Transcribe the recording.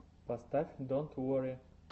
поставь донт уорри